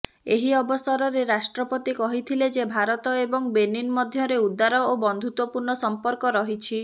ଏହି ଅବସରରେ ରାଷ୍ଟ୍ରପତି କହିଥିଲେ ଯେ ଭାରତ ଏବଂ ବେନିନ ମଧ୍ୟରେ ଉଦାର ଓ ବନ୍ଧୁତ୍ବପୂର୍ଣ୍ଣ ସମ୍ପର୍କ ରହିଛି